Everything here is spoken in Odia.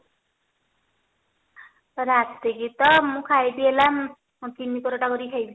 ରାତିକି ତ ମୁଁ ଖାଇବି ହେଲା ଚିନି ପରଠା କରି ଖାଇବି